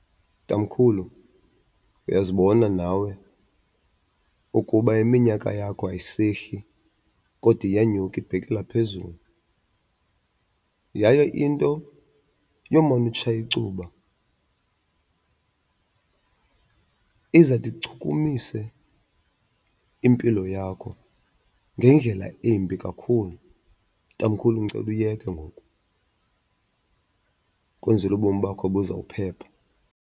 Tamkhulu, uyazibona nawe ukuba iminyaka yakho ayisehli kodwa iyanyuka ibhekela phezulu yaye into yomane utshaya icuba izawude ichukumise impilo yakho ngendlela embi kakhulu. Tamkhulu, ndicela uyeke ngoku kwenzele ubomi bakho buzawuphepha.